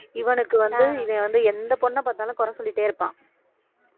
இவனுக்கு வந்து இவன் வந்து எந்த பொண்ணை பார்த்தாலும் குறை சொல்லிட்டே இருப்பான்